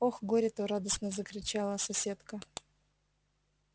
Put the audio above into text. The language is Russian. ох горе-то радостно запричитала соседка